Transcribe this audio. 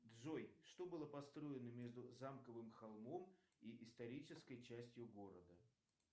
джой что было построено между замковым холмом и исторической частью города